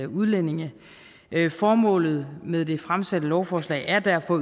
udlændinge formålet med det fremsatte lovforslag er derfor